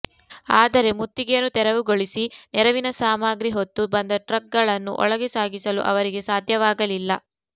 ಆದರೆ ಮುತ್ತಿಗೆಯನ್ನು ತೆರವುಗೊಳಿಸಿ ನೆರವಿನ ಸಾಮಗ್ರಿ ಹೊತ್ತು ಬಂದ ಟ್ರಕ್ಗಳನ್ನು ಒಳಗೆ ಸಾಗಿಸಲು ಅವರಿಗೆ ಸಾಧ್ಯವಾಗಲಿಲ್ಲ